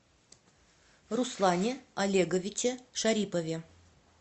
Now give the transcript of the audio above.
руслане олеговиче шарипове